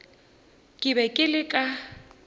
ke bego ke le ka